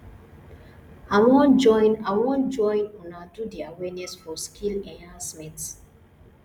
i wan join i wan join una do the awareness for skill enhancement